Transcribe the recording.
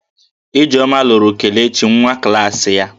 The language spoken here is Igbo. Ijeoma lụrụ Kelechi nwa klaasị ya